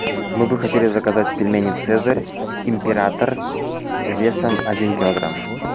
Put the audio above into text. мы бы хотели заказать пельмени цезарь император весом один килограмм